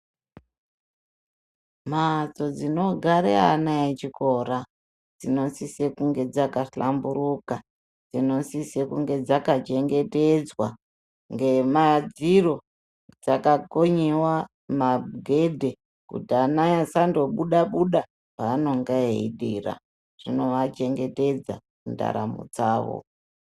Mhatso dzinogara ana echikora dzinosisa kunge dzakahlamburuka dzinosise kunge dzakachengetedzwa ngemadziro dzakakonyewa magedhe kuti ana asandobuda buda paanenge echidira zvinoachengetedza ndaramo dzavo.